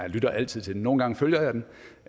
lytter altid til den nogle gange følger